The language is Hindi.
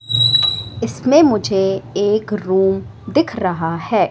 इसमें मुझे एक रूम दिख रहा है।